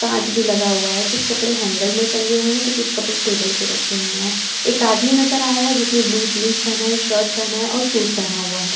कांच भी लगा हुआ है। कुछ कपड़े हेंगर में टंगे हुए हैं तो कुछ कपड़े टेबल पर रखे हुए हैं एक आदमी नजर आ रहा है जिसने ब्लू जींस पहना है शर्ट पहना है और शूज पहना हुआ है।